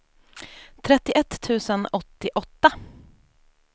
trettioett tusen åttioåtta